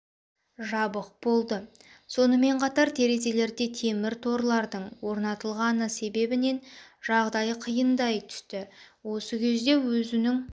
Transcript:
жабық болды сонымен қатар терезелерде темір торладың орнатылғаны себебінен жағдай қиындай түсті осы кезде өзінің